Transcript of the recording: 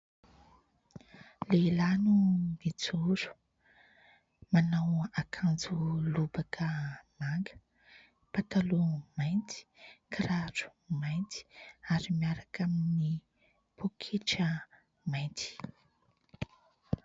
Lehilahy no mijoro, manao akanjo lobaka manga, pataloha mainty, kiraro mainty ary miaraka amin'ny pôketra mainty.